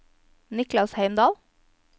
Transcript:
Niklas Heimdal